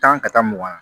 Tan ka taa mugan